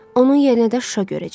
Onun yerinə də Şuşa görəcək.